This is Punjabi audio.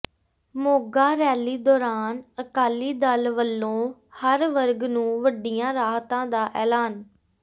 ਮੋਗਾ ਰੈਲੀ ਦੌਰਾਨ ਅਕਾਲੀ ਦਲ ਵੱਲੋਂ ਹਰ ਵਰਗ ਨੂੰ ਵੱਡੀਆਂ ਰਾਹਤਾਂ ਦਾ ਐਲਾਨ